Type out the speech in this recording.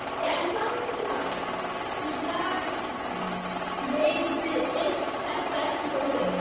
Enn þann dag í dag veit Edda ekki hvað gerðist.